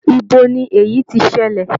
Ibo ni èyí ti ṣẹlẹ̀?